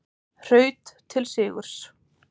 Hraut til sigurs